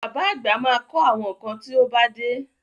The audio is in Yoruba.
Bàbá àgbà ma kọ́ àwọn kan tí ó bá dé